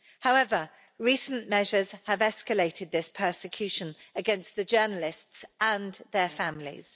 However, recent measures have escalated this persecution against the journalists and their families.